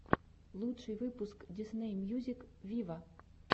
лучший выпуск дисней мьюзик виво